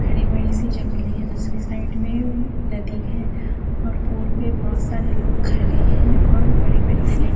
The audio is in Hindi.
हरी भरी सी जंगलें हैं दूसरी साइड में नदी है और पूल पे बहुत सारे लोग खरे हैं और बड़ी बड़ी सी --